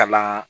Kalan